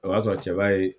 O b'a sɔrɔ cɛba ye